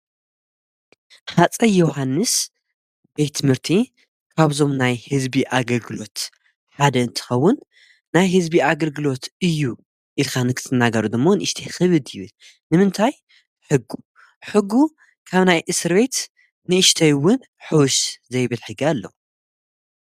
ኻፀይ ዮሓንስ ቤት ምርቲ ካብዞም ናይ ሕዝቢ ኣግርግሎት ሓደ እንትኸውን ናይ ሕዝቢ ኣግርግሎት እዩ ኢልኻ ንክቲ እናጋሩ ድሞ ንእሽተይ ኽብ ብን ንምንታይ ሕጊ ሕጉ ካብ ናይ እስርበይት ንእሽተይውን ኅዉሽ ዘይብልሕጊ ኣለ።